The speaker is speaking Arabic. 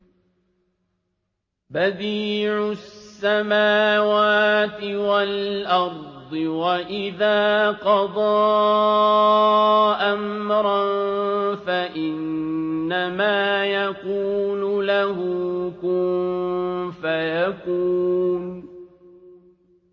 بَدِيعُ السَّمَاوَاتِ وَالْأَرْضِ ۖ وَإِذَا قَضَىٰ أَمْرًا فَإِنَّمَا يَقُولُ لَهُ كُن فَيَكُونُ